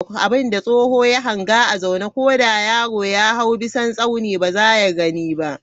Abinda tsoho ya hanga a zaune, ko da yaro ya hawo bisan tsauni ba za ya gani ba.